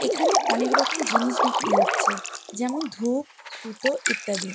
এখানে অনেক রকম জিনিস বিক্রি হচ্ছে যেমন- ধূপ সুতো ইত্যাদি।